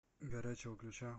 горячего ключа